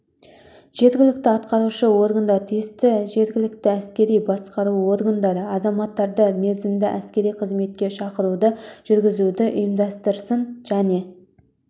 жергілікті атқарушы органдар тиісті жергілікті әскери басқару органдары азаматтарды мерзімді әскери қызметке шақыруды жүргізуді ұйымдастырсын және